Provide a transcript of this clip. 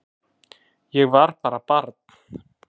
Ég var bara barn